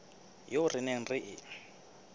eo re neng re e